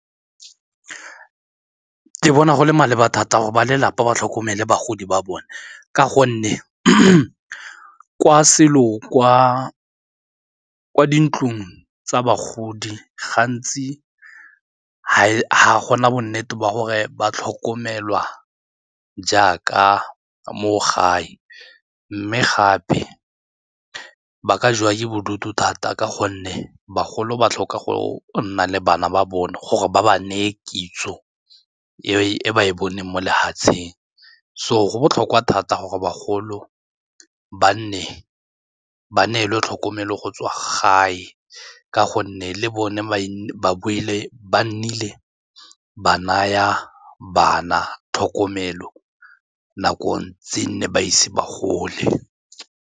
Ke bona go le maleba thata gore ba lelapa ba tlhokomele bagodi ba bone ka gonne kwa kwa dintlong tsa bagodi gantsi ga gona bonnete ba gore ba tlhokomelwa jaaka mo gae mme gape ba ka jewa ke bodutu thata ka gonne bagolo ba tlhoka go nna le bana ba bone gore ba ba neye kitso e ba e boneng mo lefatsheng, so go botlhokwa thata gore bagolo ka ba nne ba neelwe tlhokomelo go tswa gae ka gonne le bone ba nnile ba naya bana tlhokomelo nako tse nne ba ise ba gole.